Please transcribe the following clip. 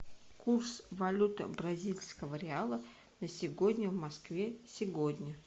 курс валюты бразильского реала на сегодня в москве сегодня